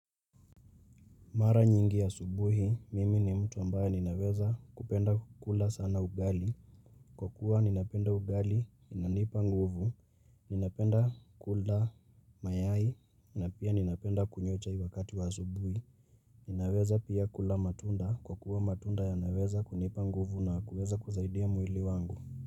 Mara nyingi ya asubuhi, mimi ni mtu ambaye ninaweza kupenda kula sana ugali, kwa kuwa ninapenda ugali, inanipa nguvu, ninapenda kula mayai, na pia ninapenda kunywa chai wakati wa asubuhi, ninaweza pia kula matunda, kwa kuwa matunda yanaweza kunipa nguvu na kuweza kusaidia mwili wangu.